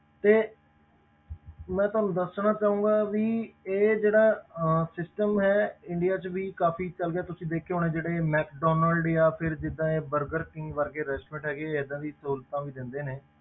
ਤੇ ਮੈਂ ਤੁਹਾਨੂੰ ਦੱਸਣਾ ਚਾਹਾਂਗਾ ਵੀ ਇਹ ਜਿਹੜਾ ਅਹ system ਹੈ India ਵਿੱਚ ਵੀ ਕਾਫ਼ੀ ਚੱਲ ਗਿਆ ਤੁਸੀਂ ਦੇਖਿਆ ਹੋਣਾ ਜਿਹੜੇ Mcdonald ਜਾਂ ਫਿਰ ਜਿੱਦਾਂ ਇਹ Burger king ਵਰਗੇ restaurant ਹੈਗੇ ਏਦਾਂ ਦੀ ਸਹੂਲਤਾਂ ਵੀ ਦਿੰਦੇ ਨੇ,